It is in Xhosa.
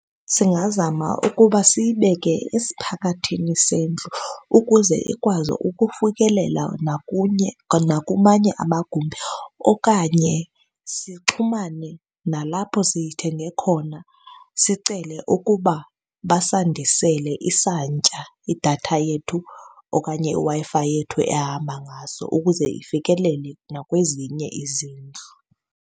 Singazama ukuba siyibeke esiphakathi sendlu ukuze ikwazi ukufikelela nakunye nakumanye amagumbi. Okanye sixhumane nalapho siyithenge khona sicele ukuba basandisele isantya idatha yethu okanye iWi-Fi yethu ehamba ngaso ukuze ifikelele nakwezinye izindlu.